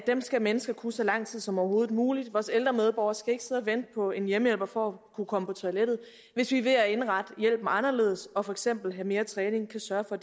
dem skal mennesker kunne så lang tid som overhovedet muligt vores ældre medborgere skal ikke sidde og vente på en hjemmehjælper for at kunne komme på toilettet hvis vi ved at indrette hjælpen anderledes og for eksempel have mere træning kan sørge for